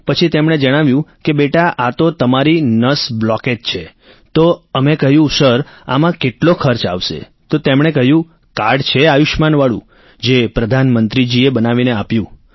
પછી તેમણે જણાવ્યું કે બેટા આ તો તમારી નસ બ્લોકેજ છે તો અમે કહ્યું સર આમાં કેટલો ખર્ચ આવશે તો તેમણે કહ્યું કાર્ડ છે આયુષ્યમાનવાળું જે પ્રધાનમંત્રીજીએ બનાવીને આપ્યું